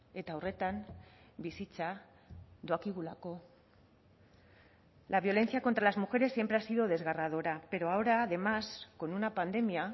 eta horretan bizitza doakigulako la violencia contra las mujeres siempre ha sido desgarradora pero ahora además con una pandemia